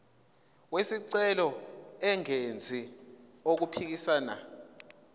wesicelo engenzi okuphikisana